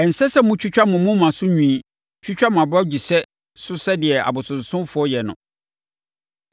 “ ‘Ɛnsɛ sɛ motwitwa mo moma so nwi twitwa mo abɔgyesɛ so sɛdeɛ abosonsomfoɔ yɛ no.